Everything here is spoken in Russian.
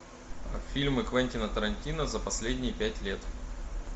фильмы квентина тарантино за последние пять лет